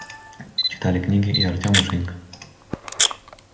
читали книги и артём и женька